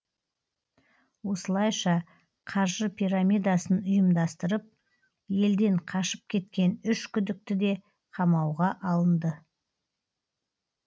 осылайша қаржы пирамидасын ұйымдастырып елден қашып кеткен үш күдікті де қамауға алынды